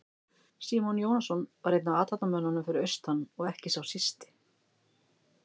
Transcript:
Símon Jónasson var einn af athafnamönnunum fyrir austan og ekki sá sísti.